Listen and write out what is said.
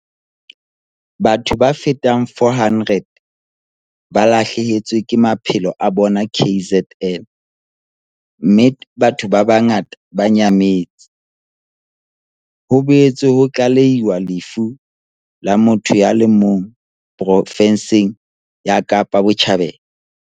Batho ba fetang 400 ba lahlehetswe ke maphelo a bona KZN, mme batho ba bangata ba nyametse. Ho boetse ho tlalehilwe lefu la motho ya le mong profenseng ya Kapa Botjhabela.